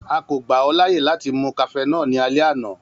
A ko gba ọ laaye lati mu cafenol ni alẹ ana.